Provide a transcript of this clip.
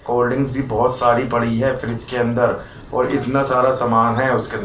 cold drinks भी बहोत सारी पड़ी है फ्रिज इसके अंदर और इतना सारा सामान है उसके--